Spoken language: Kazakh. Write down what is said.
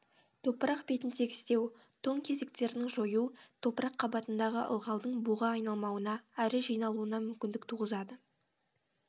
топырақ бетін тегістеу тоң кесектердің жою топырақ қабатындағы ылғалдың буға айналмауына әрі жиналуына мүмкіндік туғызады